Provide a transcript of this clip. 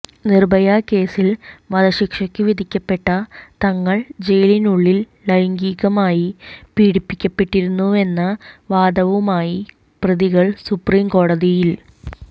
നിര്ഭയ കേസിൽ വധശിക്ഷയ്ക്ക് വിധിക്കപ്പെട്ട തങ്ങൾ ജയിലിനുള്ളിൽ ലൈംഗികമായി പീഡിപ്പിക്കപ്പെട്ടിരുന്നുവെന്ന വാദവുമായി പ്രതികൾ സുപ്രീം കോടതിയിൽ